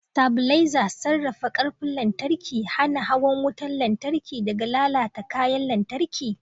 Stabilizers sarrafa ƙarfin lantarki, hana hawan wutar lantarki daga lalata kayan lantarki.